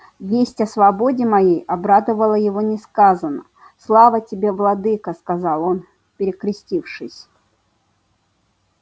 весть о свободе моей обрадовала его несказанно слава тебе владыко сказал он перекрестившись